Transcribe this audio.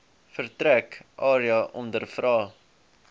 vertrek area ondervra